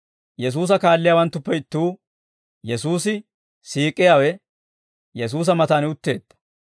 Yesuusa kaalliyaawanttuppe ittuu, Yesuusi siik'iyaawe, Yesuusa matan utteedda.